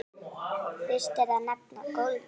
Fyrst er að nefna golfið.